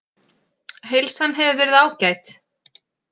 Heilsan hefur verið ágæt